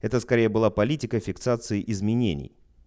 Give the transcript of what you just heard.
это скорее была политика фиксации изменений